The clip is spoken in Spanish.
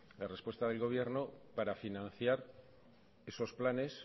la respuesta del gobierno para financiar esos planes